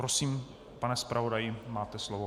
Prosím, pane zpravodaji, máte slovo.